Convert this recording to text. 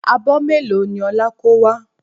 Abọ́ mélòó ni Ọlá kó wá?